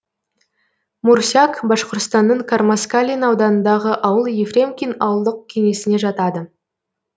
мурсяк башқұртстанның кармаскалин ауданындағы ауыл ефремкин ауылдық кеңесіне жатады